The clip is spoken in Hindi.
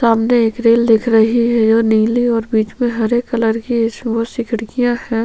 सामने एक रेल दिख रही है जो नीले और बीच मे हरे कलर की है इसमे बहुत सी खिड़कियां है।